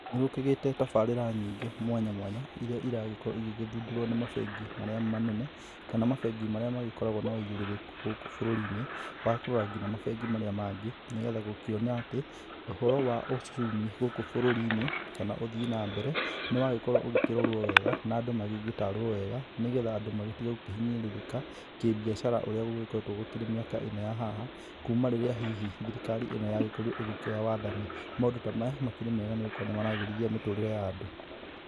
Nĩ gũkĩgĩte tabarĩra nyingĩ mwanya mwanya iria iragĩkorwo igĩgĩthundũrũo nĩ mabengi marĩa manene, kana mabengi marĩa magĩkoragwo na ũigĩrĩrĩku gũkũ bũrũri-inĩ, wa kũrora nginya mabengi marĩa mangĩ nĩgetha gũkĩona atĩ, ũhoro wa uchumi gũkũ bũrũri-inĩ kana ũthii na mbere, nĩwagĩkorwo ũgĩkĩrorwo wega na andũ magĩgĩtarwo wega, nĩgetha andũ magĩtige gũkĩhinyĩrĩrĩka kĩmbiacara ũrĩa gũgĩkoretwo gũkĩrĩ mĩaka ĩno ya haha, kuuma rĩrĩa hihi thirikari ĩno yagĩkorirwo ĩgĩkioya wathani, maũndũ ta maya makĩrĩ mega nĩ gũgĩkorwo nĩ maragĩrithia mĩtũrĩre ya andũ.